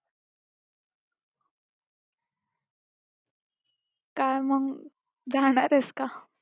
काय मग जाणारेस का?